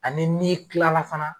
Ani n'i tilala fana